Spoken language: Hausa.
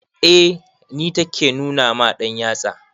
Eh ni take nuna ma ɗanyatsa.